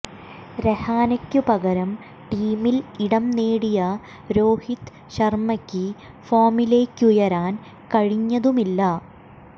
രഹാനെയ്ക്കു പകരം ടീമിൽ ഇടം നേടിയ രോഹിത് ശർമയ്ക്ക് ഫോമിലേക്കുയരാൻ കഴിഞ്ഞതുമില്ല